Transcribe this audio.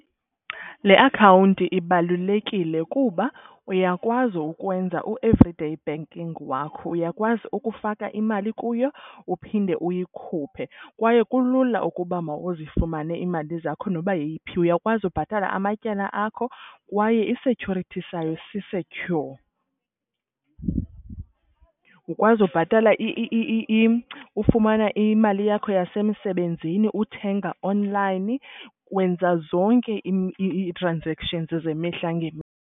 Le akhawunti ibalulekile kuba uyakwazi ukwenza u-everyday banking wakho, uyakwazi ukufaka imali kuyo uphinde uyikhuphe kwaye kulula ukuba mawuzifumane iimali zakho noba yeyiphi. Uyakwazi ubhatala amatyala akho kwaye i-security sayo si-secure. Ukwazi ubhatala , ufumana imali yakho yasemsebenzini, uthenga online, wenza zonke ii-transactions zemihla .